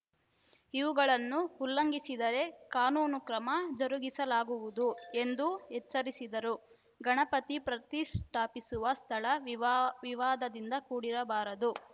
ಇವುಗಳನ್ನು ಉಲ್ಲಂಘಿಸಿದರೆ ಕಾನೂನು ಕ್ರಮ ಜರುಗಿಸಲಾಗುವುದು ಎಂದು ಎಚ್ಚರಿಸಿದರು ಗಣಪತಿ ಪ್ರತಿಷ್ಠಾಪಿಸುವ ಸ್ಥಳ ವಿವಾ ವಿವಾದದಿಂದ ಕೂಡಿರಬಾರದು